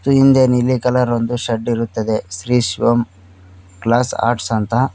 ಹಿಂದೆ ನೀಲಿ ಕಲರ್ ಒಂದು ಶೆಡ್ ಇರುತ್ತದೆ ಶ್ರೀ ಶಿವಂ ಗ್ಲಾಸ್ ಆರ್ಟ್ಸ್ ಅಂತ.